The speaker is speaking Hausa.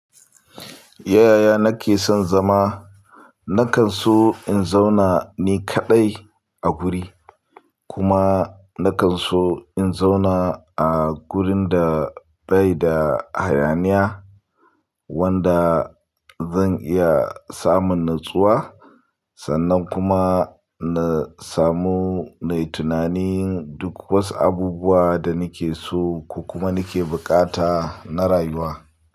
Yaya nake son zama, nakan so in zauna ni kaɗai a guri kuma nakan so in zauna a gurin da bai da hayaniya wanda zan iya samun natsuwa sannan kuma na samu na yi tunanin duk wasu abubuwa da nake so ko kuma nake buƙata na rayuwa.